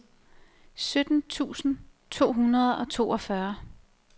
sytten tusind to hundrede og toogfyrre